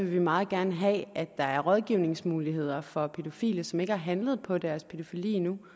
vi meget gerne have at der er rådgivningsmuligheder for pædofile som ikke har handlet på deres pædofili endnu